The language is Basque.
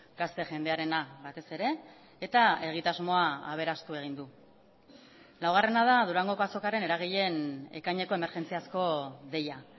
gazte jendearena batez ere eta egitasmoa aberastu egin du laugarrena da durangoko azokaren eragileen ekaineko emergentziazko deia